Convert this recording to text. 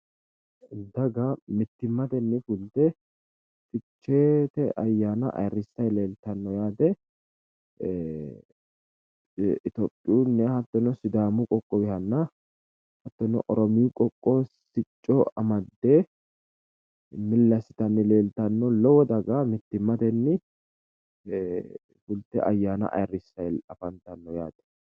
Daga mittimmatenni fulte ficheete ayyaana ayiirrissayi leeltanno yaate. Itophiyunniha hattono sidaamunniha qoqqowihanna hattono Oromiyu qoqqowi sicco amadde milli assitanni leeltanno. Lowo daga mittimmatenni fulte ayyaana ayirrisayi afantanno yaate.